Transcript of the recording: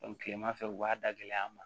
kilemafɛ u b'a dagɛ an ma